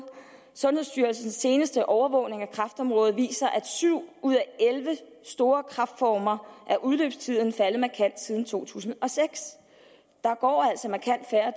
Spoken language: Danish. sundhedsstyrelsens seneste overvågning af kræftområdet viser at syv ud af elleve store kræftformer er udløbstiden faldet markant siden to tusind og seks der går altså markant færre